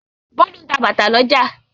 Bólú ń ta bàtà lọ́jà.